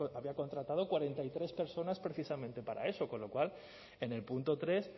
había contratado cuarenta y tres personas precisamente para eso con lo cual en el punto tres